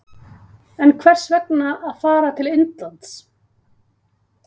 En hvers vegna að fara til Indlands?